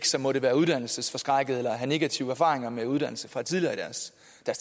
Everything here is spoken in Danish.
som måtte være uddannelsesforskrækkede eller have negative erfaringer med uddannelse fra tidligere i deres